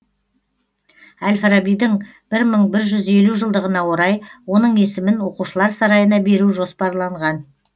әл фарабидің бір мың бір жүз елу жылдығына орай оның есімін оқушылар сарайына беру жоспарланған